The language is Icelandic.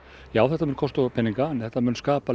já þetta mun kosta okkur peninga en þetta mun skapa